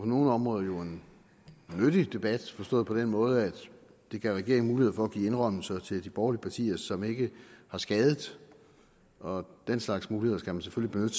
nogle områder jo en nyttig debat forstået på den måde at det gav regeringen mulighed for at give indrømmelser til de borgerlige partier som ikke har skadet og den slags muligheder skal man selvfølgelig